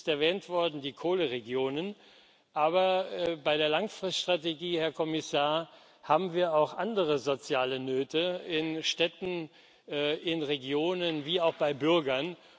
Erwähnt worden sind die Kohleregionen. Aber bei der Langfriststrategie, Herr Kommissar, haben wir auch andere soziale Nöte in Städten, in Regionen wie auch bei Bürgern.